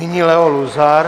Nyní Leo Luzar.